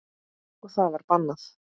Og það var bannað.